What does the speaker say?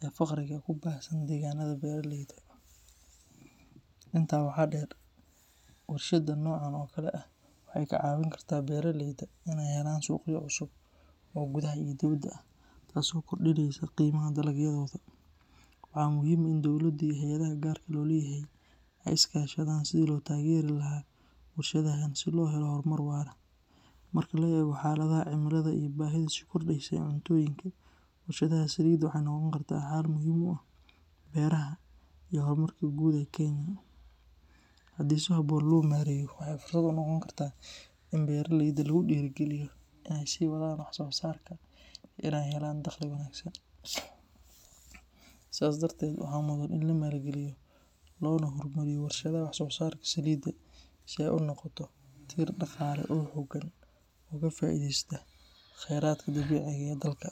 iyo faqriga ku baahsan deegaanada beeraleyda. Intaa waxaa dheer, warshadda noocan oo kale ah waxay ka caawin kartaa beeraleyda inay helaan suuqyo cusub oo gudaha iyo dibaddaba ah, taasoo kordhinaysa qiimaha dalagyadooda. Waxaa muhiim ah in dowladdu iyo hay’adaha gaarka loo leeyahay ay iska kaashadaan sidii loo taageeri lahaa warshadahan si loo helo horumar waara. Marka la eego xaaladaha cimilada iyo baahida sii kordheysa ee cuntooyinka, warshadda Salida waxay noqon kartaa xal muhiim u ah beeraha iyo horumarka guud ee Kenya. Haddii si habboon loo maareeyo, waxay fursad u noqon kartaa in beeraleyda lagu dhiirrigeliyo inay sii wadaan wax soo saarka iyo inay helaan dakhli wanaagsan. Sidaas darteed, waxaa mudan in la maalgeliyo loona horumariyo warshadaha wax soo saarka Salida, si ay u noqoto tiir dhaqaale oo xooggan oo ka faa’iideysta kheyraadka dabiiciga ah ee dalka.